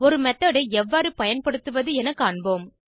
ஒரு மெத்தோட் ஐ எவ்வாறு பயன்படுத்துவது என காண்போம்